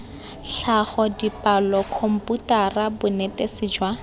tlhago dipalo khomputara bonetetshi jwa